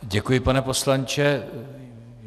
Děkuji, pane poslanče.